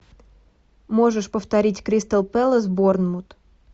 можешь повторить кристал пэлас борнмут